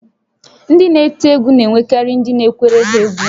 Ndị na-eti egwu na-enwekarị ndị na-ekwere ha egwú